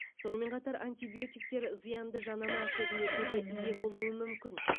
сонымен қатар антибиотиктер зиянды жанама әсерлерге де ие болуы мүмкін